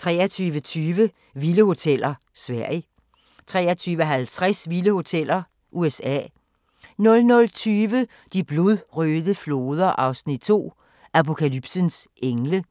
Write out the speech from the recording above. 23:20: Vilde hoteller: Sverige 23:50: Vilde hoteller: USA 00:20: De blodrøde floder 2 – Apokalypsens engle